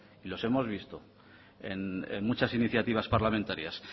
y los hemos visto en muchas iniciativas parlamentarias